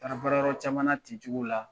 taara baayɔrɔ caman na ten cogo la